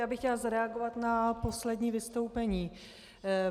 Já bych chtěla zareagovat na poslední vystoupení.